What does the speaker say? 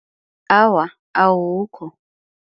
Awa, awukho.